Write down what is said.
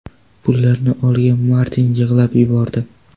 Pullarni olgan Martin yig‘lab yubordi.